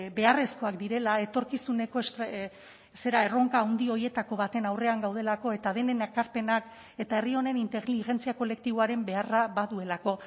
beharrezkoak direla etorkizuneko zera erronka handi horietako baten aurrean gaudelako eta denen ekarpenak eta herri honen inteligentzia kolektiboaren beharra baduelako